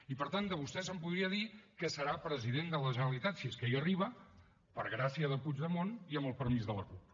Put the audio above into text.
i per tant de vostè se’n podria dir que serà president de la generalitat si és que hi arriba per gràcia de puigdemont i amb el permís de la cup